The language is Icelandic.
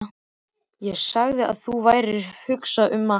Þú sagðir að þú værir að hugsa um að hætta.